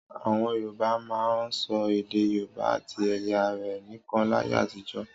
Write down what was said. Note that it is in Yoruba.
Àwọn Yorùbá máa ń sọ èdè Yorùbá àti ẹ̀ya rẹ̀ nìkan láyé àtijọ́.